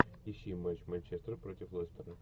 ищи матч манчестер против лестера